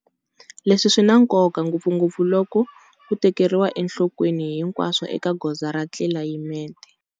Leswi swi na nkoka ngopfungopfu loko ku tekeriwa enhlokweni hinkwaswo eka goza ra tlilayimete.